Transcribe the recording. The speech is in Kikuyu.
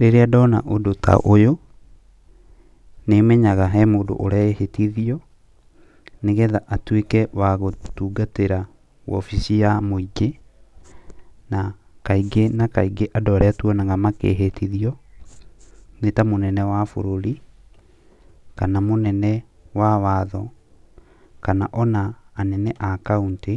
Rĩrĩa ndona ũndũ ta ũyũ, nĩmenyaga hena mũndũ ũrehĩtithio, nĩgetha atuĩke wa gũtungatĩra wabici ya mũingĩ, na kaingĩ na kaingĩ andũ arĩa tuonaga makĩhĩtithio nĩ ta mũnene wa bũrũri, kana mũnene wa watho, kana ona anene a kauntĩ,